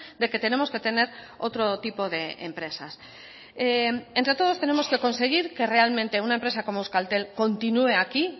de que tenemos que tener otro tipo de empresas entre todos tenemos que conseguir que realmente una empresa como euskaltel continúe aquí